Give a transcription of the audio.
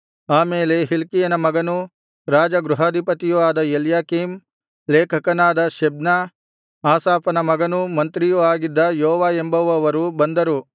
ಆ ಮೇಲೆ ಹಿಲ್ಕೀಯನ ಮಗನೂ ರಾಜಗೃಹಾಧಿಪತಿಯೂ ಆದ ಎಲ್ಯಾಕೀಮ್ ಲೇಖಕನಾದ ಶೆಬ್ನ ಆಸಾಫನ ಮಗನೂ ಮಂತ್ರಿಯೂ ಆಗಿದ್ದ ಯೋವ ಎಂಬುವವರು ಬಂದರು